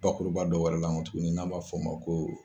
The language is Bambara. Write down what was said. Bakuruba dɔ wɛrɛ la nkɔ tukuni n'an b'a fɔ o ma ko